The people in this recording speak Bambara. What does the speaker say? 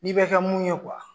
N'i bɛ kɛ mun ye .